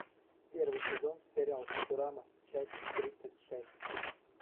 первый сезон сериал футурама часть тридцать шесть